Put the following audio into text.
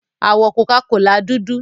Àwọ̀ Coca-Cola dúdú.